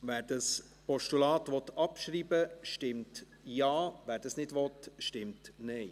Wer das Postulat abschreiben will, stimmt Ja, wer dies nicht will, stimmt Nein.